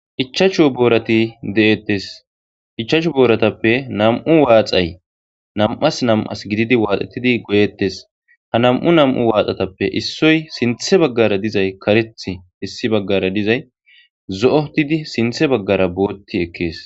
ichachu boorati de7ettes. ichachu booratappe nam"u waaxay nam"as nam"as gididi waaxettidi goyeettes. ha nam"u nam"u waaxatappe issoy sinthe baggara dizay kareth issi baggara dizay zo"otidi sinthe baggara bootti ekkees.